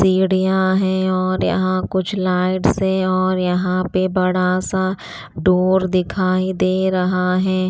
सीढ़ियां हैं और यहाँ कुछ लाइट्स है और यहाँ पे बड़ा सा डोर दिखाई दे रहा है।